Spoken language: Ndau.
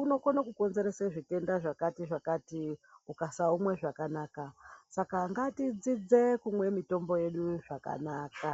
unokone kukonzerese zvitenda zvakati zvakati ukasaumwe zvakanaka saka ngatidzidze kumwe mitombo yedu zvakanaka.